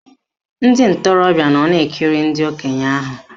Ndị ntorobịa nọ na-ekiri ndị okenye ahụ